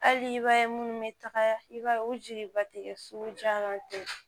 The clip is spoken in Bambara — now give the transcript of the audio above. Hali i b'a ye munnu bɛ taga i b'a ye o jeliba tɛ kɛ sugu jan ten